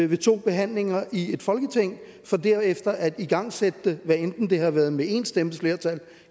ved to behandlinger i folketinget for derefter at igangsætte det hvad enten det har været med en stemmes flertal